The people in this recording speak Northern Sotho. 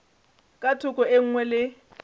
ka thoko e nngwe le